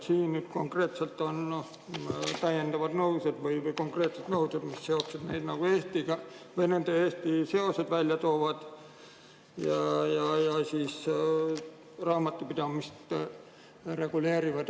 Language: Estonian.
Siin on täiendavad või konkreetsed nõuded, mis nende seoseid Eestiga välja toovad ja raamatupidamist reguleerivad.